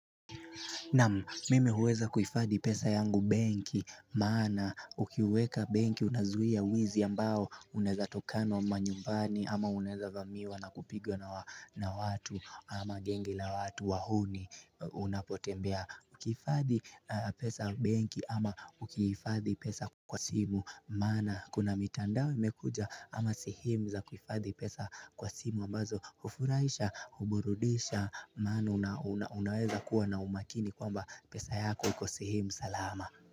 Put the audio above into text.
Namu mime huweza kuifadhi pesa yangu benki maana ukiweka benki unazuia wizi ambao uneza tokana manyumbani ama unaeza vamiwa na kupigwa na watu ama gengi la watu wahuni unapotembea Ukifadhi pesa benki ama ukifadhi pesa kwa simu Mana kuna mitandao imekuja ama sehemu za kuhifadhi pesa kwa simu mbazo ufuraisha, uburudisha, mana unaweza kuwa na umakini kwamba pesa yako iko sehemu, salama.